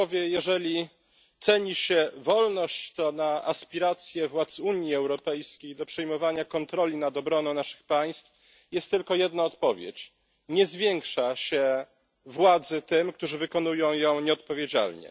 Jeżeli ceni się wolność, to na aspiracje władz Unii Europejskiej do przejmowania kontroli nad obroną naszych państw jest tylko jedna odpowiedź nie zwiększa się władzy tym, którzy sprawują ją nieodpowiedzialnie.